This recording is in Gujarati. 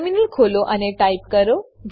ટર્મિનલ ખોલો અને ટાઈપ કરો